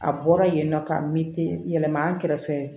A bɔra yen nɔ ka mite yɛlɛma an kɛrɛfɛ